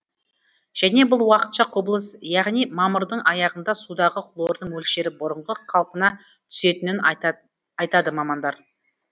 және бұл уақытша құбылыс яғни мамырдың аяғында судағы хлордың мөлшері бұрынғы қалпына түсетінін айтады мамандар